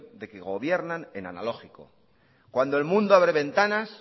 de que gobiernan en analógico cuando el mundo abre ventanas